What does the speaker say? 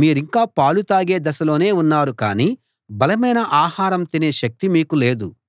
మీరింకా పాలు తాగే దశలోనే ఉన్నారు కానీ బలమైన ఆహారం తినే శక్తి మీకు లేదు